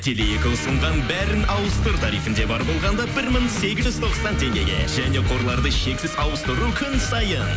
теле екі ұсынған бәрін ауыстыр тарифінде бар болғанда бір мың сегіз жүз тоқсан теңгеге және қорларды шексіз ауыстыру күн сайын